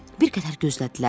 Bir qədər gözlədilər.